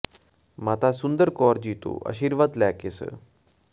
ਮਾਤਾ ਸੁੰਦਰ ਕੌਰ ਜੀ ਤੋਂ ਆਸ਼ੀਰਵਾਦ ਲੈ ਕੇ ਸ